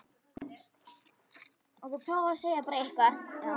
Hann kemur kannski til með að vera í aðeins öðruvísi hlutverki en hann er vanur.